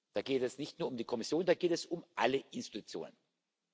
Da geht es nicht nur um die Kommission, da geht es um alle Organe.